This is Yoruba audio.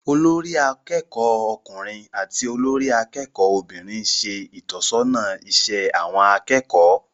Olórí akẹ́kọ̀ọ́ ọkùnrin àti olórí akẹ́kọ̀ọ́ obìnrin ń ṣe ìtọ́sọ́nà iṣẹ́ àwọn akẹ́kọ̀ọ́